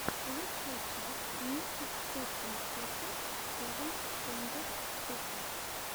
лучшая часть ники сетин сети севен стэндофф сэконд